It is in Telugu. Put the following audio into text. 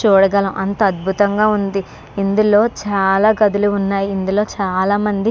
చూడగా ఎంతో అద్భుతంగా ఉంది. ఇందులో చాలా కథలు ఉన్నాయి. ఇందులో చాలా మంది--